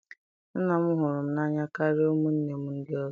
Nna m hụrụ m n'anya karịa ụmụnne m ndị ọzọ